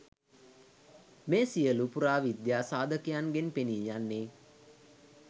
මේ සියලු පුරාවිද්‍යා සාධකයන්ගෙන් පෙනී යන්නේ